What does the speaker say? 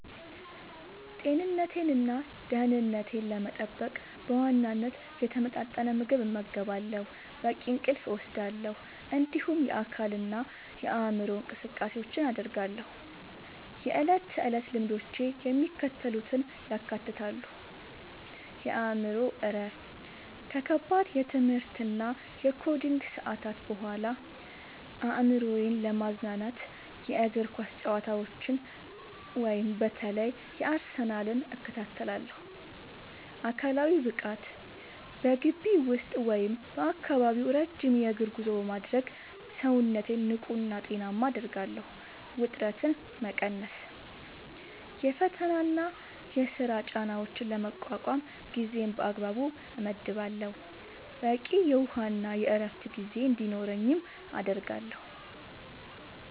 ጤንነቴንና ደህንነቴን ለመጠበቅ በዋናነት የተመጣጠነ ምግብ እመገባለሁ፣ በቂ እንቅልፍ እወስዳለሁ፣ እንዲሁም የአካልና የአእምሮ እንቅስቃሴዎችን አደርጋለሁ። የዕለት ተዕለት ልምዶቼ የሚከተሉትን ያካትታሉ፦ የአእምሮ እረፍት፦ ከከባድ የትምህርትና የኮዲንግ ሰዓታት በኋላ አእምሮዬን ለማዝናናት የእግር ኳስ ጨዋታዎችን (በተለይ የአርሰናልን) እከታተላለሁ። አካላዊ ብቃት፦ በግቢ ውስጥ ወይም በአካባቢው ረጅም የእግር ጉዞ በማድረግ ሰውነቴን ንቁና ጤናማ አደርጋለሁ። ውጥረት መቀነስ፦ የፈተናና የሥራ ጫናዎችን ለመቋቋም ጊዜን በአግባቡ እመድባለሁ፣ በቂ የውሃና የዕረፍት ጊዜ እንዲኖረኝም አደርጋለሁ።